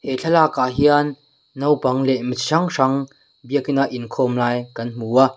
he thlalak ah hian naupang leh mi hrang hrang biakina inkhawm lai kan hmu a.